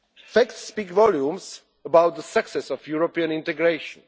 Facts speak volumes about the success of European integration.